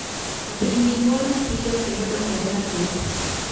mbidhi nyuol mapiyo kendo dongore mathoth